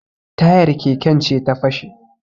Tayar keken ce ta fashe